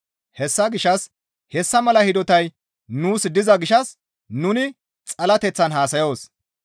Hessa gishshas hessa mala hidotay nuus diza gishshas nuni xalateththan haasayoos.